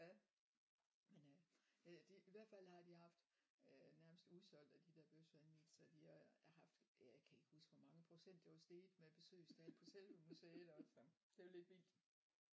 Ja men øh jeg det i hvert fald her de haft øh nærmest udsolgt af de der bøfsandwich så de har har haft jeg kan ikke huske hvor mange procent det var steget med besøgstal på selve museet også så det er jo lidt vildt